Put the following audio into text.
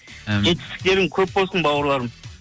амин жетістіктерің көп болсын бауырларым